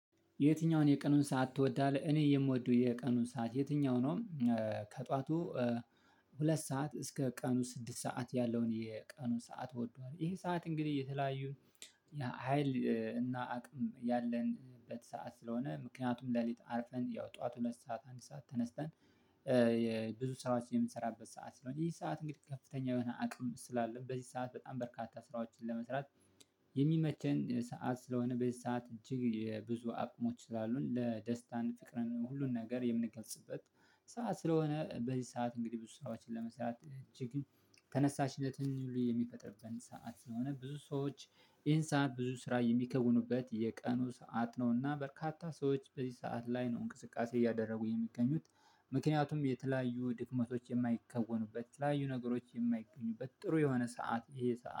የትኛውን የቀኑን ሰዓት ትወዳለህ እኔ የምወደው የቀኑን ሰዓት የትኛው ነው? ከጧቱ ሁለት ሰዓት እስከ ቀኑ ስድስት ሰዓት ያለውን የቀኑ ሰዓት ወደዋለው ይሄ ሰዓት እንግዲህ የተለያዩን የሀይል እና አቅም ያለንበት ሰዓት ስለሆነ ምክንያቱም ሌሊት አርፈን ያው ጠዋት ሁለት ሰዓት አንድ ሰዓት ተነስተን። የብዙ ስራዎችን የምንሰራበት ሰዓት ስለሆነ ይህ ሰዓት እንግዲህ ከፍተኛ የሆነ አቅም ስላለ በዚህ ሰዓት በጣም በርካታ ስራዎችን ለመስራት። የሚመቸን ሰዓት ስለሆነ በዚህ ሰዓት እጅግ ብዙ አቅሞች ስላሉን ለደስታ ፍቅርን ሁሉን ነገር የምንገልጽበት። ሰዓት ስለሆነ በዚህ ሰዓት እንግዲህ ብዙ ሰራዎችን ለመስራት እጅግ ተነሳሽነትን የሚፈጥርብን ሰዓት ስለሆነ ብዙ ሰዎች ይሄን ሰዓት ብዙ ስራ የሚከውኑበት የቀኑ ሰዓት ነውና በርካታ ሰዎች በዚህ ሰዓት ላይ ነው እንቅስቃሴ እያደረጉ የሚገኙት። ምክንያቱም የተለያዩ ድክመቶች የማይከወኑበት የተለያዩ ነገሮች የማይገኙበት ጥሩ የሆነ ሰዓት ይሄ ሰዓት